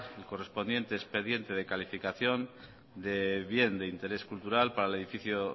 el correspondiente expediente de calificación de bien de interés cultural para el edificio